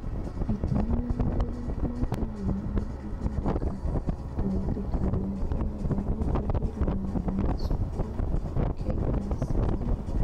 Itemi na mawĩra ma kĩhumo na Ithondeka rĩa thirikari ya Kenya rĩa Gũthuthuria Maũndũ ma Cukuru (KICD)